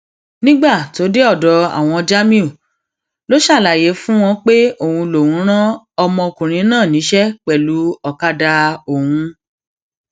nígbà tó dé ọdọ àwọn jamiu ló ṣàlàyé fún wọn pé òun lòún rán ọmọkùnrin náà níṣẹ pẹlú ọkadà òun